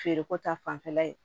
Feereko ta fanfɛla ye